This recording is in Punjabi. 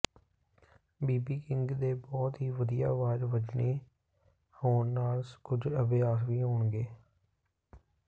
ਬੀਬੀ ਕਿੰਗ ਦੇ ਬਹੁਤ ਹੀ ਵਧੀਆ ਆਵਾਜ਼ ਵੱਜਣੇ ਹੋਣ ਨਾਲ ਕੁਝ ਅਭਿਆਸ ਵੀ ਹੋਣਗੇ